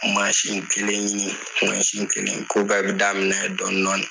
Mansin kelen ɲini mansin kelen ko bɛɛ bɛ daminɛ dɔɔnin dɔɔnin